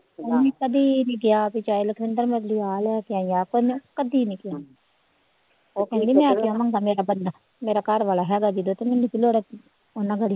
ਉਹਨੇ ਕਦੇ ਨੀ ਕਿਹਾ ਵੀ ਚਾਹੇ ਲਖਵਿੰਦਰ ਮੈਨੂੰ ਆਹ ਲੈ ਕੇ ਆਈ ਆਪ ਉਹਨੇ ਕਦੇ ਨੀ ਕਿਹਾ ਉਹ ਕਹਿੰਦੀ ਮੈਂ ਕਿਉਂ ਮੰਗਾ ਮੇਰਾ ਬੰਦਾ ਮੇਰਾ ਘਰ ਵਾਲਾ ਹੈਗਾ ਜਦੋ ਤੇ ਮੈਨੂੰ ਕੀ ਲੋੜ ਆ ਉਹਨਾਂ ਘੜੀ